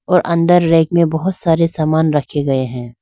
और अंदर रैक में बहोत सारे सामान रखे गए हैं।